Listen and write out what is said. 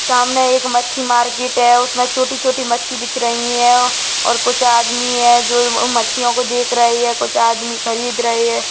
सामने एक मच्छी मार्केट है उसमें छोटी-छोटी मच्छी बीच रही है और कुछ आदमी है जो उन मच्छियों को देख रहे है कुछ आदमी खरीद रहे है।